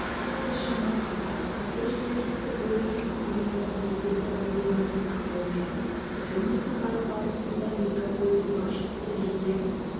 ұқсас жаңалықтар қазір желісі бойынша тұғырнама бекетті павильон жасақталып жатыр жұмыс сапары барысында мегаполис басшысы жеке